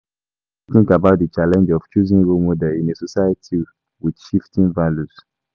Wetin you think about di challenge of choosing role models in a society with shifting values?